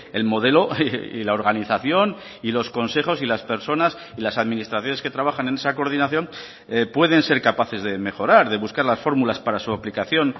el modelo y la organización y los consejos y las personas y las administraciones que trabajan en esa coordinación pueden ser capaces de mejorar de buscar las fórmulas para su aplicación